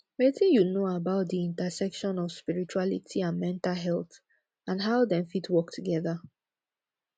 wetin you know about di intersection of spirituality and mental health and how dem fit work together